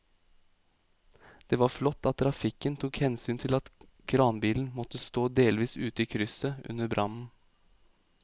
Det var flott at trafikken tok hensyn til at kranbilen måtte stå delvis ute i krysset under brannen.